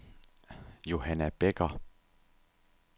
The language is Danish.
Johanna Bekker